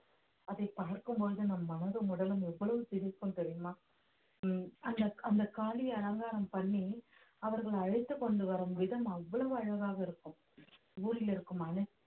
அதை பார்க்கும் போது நம் மனதும் உடலும் எவ்வளவு சிலிர்க்கும் தெரியுமா ஹம் அந்த அந்த காளி அலங்காரம் பண்ணி அவர்களை அழைத்துக் கொண்டு வரும் விதம் அவ்வளவு அழகாக இருக்கும் ஊரில் இருக்கும் அனை~